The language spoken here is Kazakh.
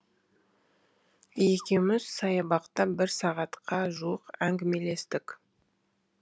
екеуміз саябақта бір сағатқа жуық әңгімелестік